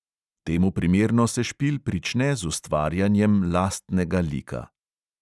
Temu primerno se špil prične z ustvarjanjem lastnega lika.